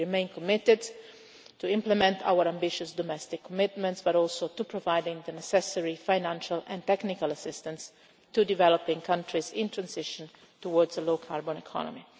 We remain committed not only to implementing our ambitious domestic commitments but also to providing the necessary financial and technical assistance to developing countries in transition towards a low carbon economy.